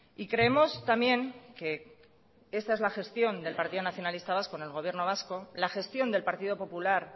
y creemos también que esta es la gestión del partido nacionalista vasco en el gobierno vasco la gestión del partido popular